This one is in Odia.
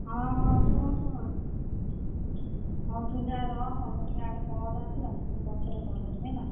ହଁ ହଁ ଶୁଣୁ ଶୁଣୁ ହଁ ତୁ ଯାଆ ରଖ ମୋର ଇଆଡେ ଟିକେ call ଆସିଲାଣି, ମୁଁ ପଛରେ call କରିବି ହେଲା।